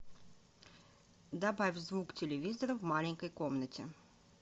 добавь звук телевизора в маленькой комнате